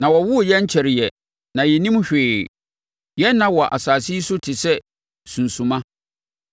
Na wɔwoo yɛn nkyɛreeɛ na yɛnnim hwee. Yɛn nna wɔ asase yi so te sɛ sunsumma.